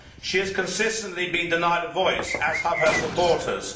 She has consistently been denied a voice, as have her supporters.